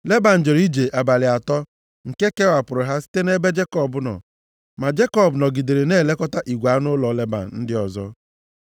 Leban jere ije abalị atọ nke kewapụrụ ha site nʼebe Jekọb nọ. Ma Jekọb nọgidere na-elekọta igwe anụ ụlọ Leban ndị ọzọ.